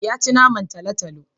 Ya ci naman talo-talo.